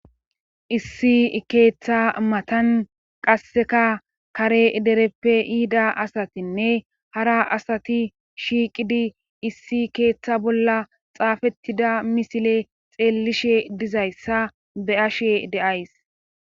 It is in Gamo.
issi keeththa matan qasseka kare dereppe yiida asatinne hara asati shiiqidi issi keeththa bolla xaafettida misile xeellishe dizayssa be ashe de7ays